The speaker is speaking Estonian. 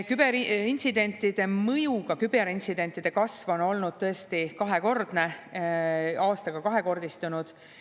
Küberintsidentide, mõjuga küberintsidentide arvu kasv on olnud tõesti suur, on aastaga kahekordistunud.